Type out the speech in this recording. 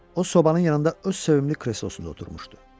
O sobanın yanında öz sevimli kreslosunda oturmuşdu.